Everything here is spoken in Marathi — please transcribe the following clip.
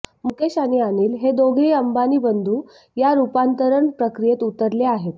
मुकेश आणि अनिल हे दोघेही अंबानी बंधू या रुपांतरण प्रक्रियेत उतरले आहेत